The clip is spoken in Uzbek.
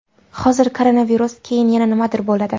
Hozir koronavirus, keyin yana nimadir bo‘ladi.